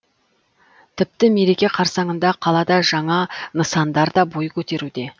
тіпті мереке қарсаңында қалада жаңа нысандар да бой көтеруде